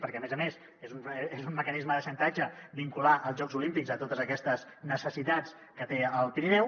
perquè a més a més és un mecanisme de xantatge vincular els jocs olímpics a totes aquestes necessitats que té el pirineu